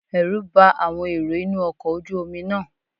Ẹ̀rù bá àwọn èrò inú ọkọ̀ ojú Omi náà